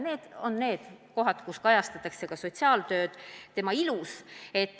Need on kohad, kus kajastatakse ka sotsiaaltööd tema ilus.